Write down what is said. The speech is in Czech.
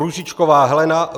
Růžičková Helena